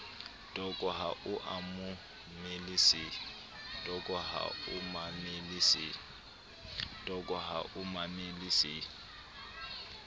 toko ha o mamele se